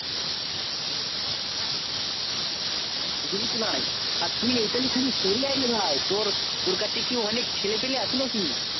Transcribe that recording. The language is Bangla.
বুজলিস ভাই তোর কাছে কি অনেক ছেলে পিলে আছে তুই একটু এই দিকে সরে আই